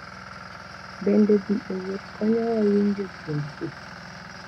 Bende, dhi ​​e wuoth konyowa winjo tiend ji.